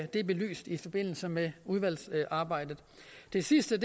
det belyst i forbindelse med udvalgsarbejdet det sidste